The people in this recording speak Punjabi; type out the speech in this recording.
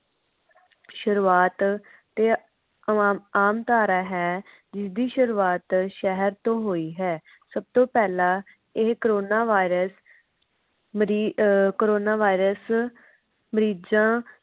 ਸ਼ੁਰੂਆਤ ਤੇ ਆਮਆਮਤਾਰਾ ਹੈ। ਜਿਸ ਦੀ ਸ਼ੁਰੂਆਤ ਸ਼ਹਿਰ ਤੋਂ ਹੋਇ ਹੈ। ਸਬ ਤੋਂ ਪਹਿਲਾ ਇਹ corona virus ਮਰੀ ਅਹ corona virus ਮਰੀਜਾਂ